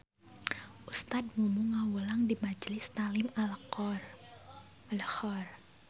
Ustad Mumu ngawulang di Majlis Talim Al Khoer